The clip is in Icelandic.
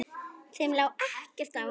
Þeim lá ekkert á.